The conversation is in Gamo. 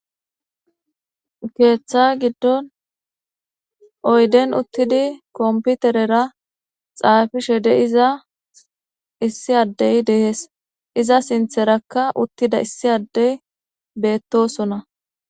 Ketha giidon oyideni utidi kopiterera xapishe diza issi adey de7es iza sinitheraka utida issi adey betosona